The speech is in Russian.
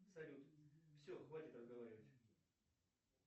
салют все хватит разговаривать